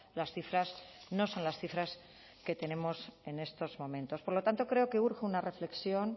las cifras no son las cifras que tenemos en estos momentos por lo tanto creo que urge una reflexión